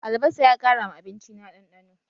Albasa ya ƙara ma abinci na ɗanɗano